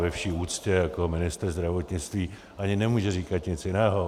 Ve vší úctě jako ministr zdravotnictví ani nemůže říkat nic jiného.